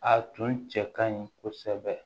A tun cɛ ka ɲi kosɛbɛ